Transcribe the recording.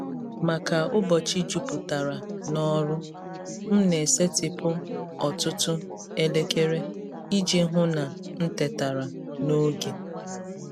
Maka ụbọchị jupụtara n’ọrụ, m na-esetịpụ ọtụtụ elekere iji hụ na m tetara n’oge.